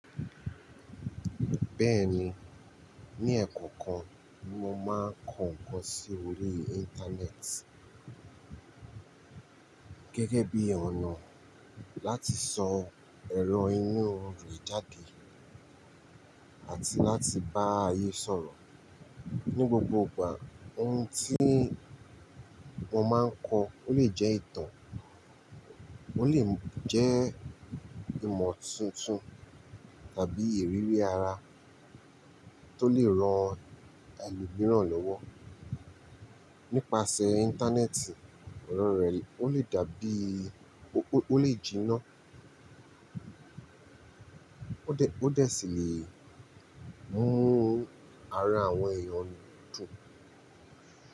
Bẹ́ẹ̀ni, ní ẹ̀ẹ̀kokan, mo máa ń kọ ǹkan sí orí Íńtánẹ́ẹ̀tì gẹ́gẹ́ bí ọ̀nà láti sọ ẹ̀rọ inú rẹ̀ jáde àti láti bá ayé sọ̀rọ̀. Ní gbogbo ìgbà ohun tí mo máa ń kọ ó lè jẹ́ ìtàn, ó lè jẹ́ ìmọ̀ tuntun tàbí ìrírí ara tó lè ran ẹlòmíràn lọ́wọ́. Nípasẹ̀ Íńtánẹ́ẹ̀tì, ọ̀rọ̀ rẹ ó lè dàbíi ó lè jiná ó dẹ̀ sí lè mú ara àwọn èèyàn dùn.